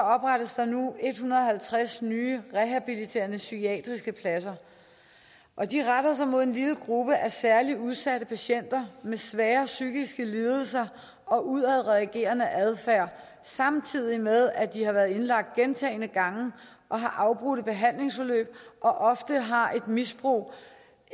oprettes der nu en hundrede og halvtreds nye rehabiliterende psykiatriske pladser og de retter sig mod en lille gruppe af særlig udsatte patienter med svære psykiske lidelser og udadreagerende adfærd samtidig med at de har været indlagt gentagne gange og har afbrudte behandlingsforløb og ofte har et misbrug